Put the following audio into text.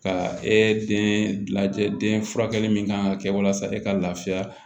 Ka e den lajɛ den furakɛli min kan ka kɛ walasa e ka laafiya